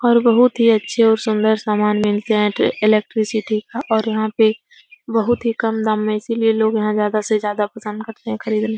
बोहोत ही अच्छे और सुंदर सामान मिलते हैं इलेक्ट्रिसिटी का और यहाँ पे बोहोत ही कम दाम में इसीलिए लोग यहाँ ज्यादा से ज्यादा पसंद करते हैं खरीदने --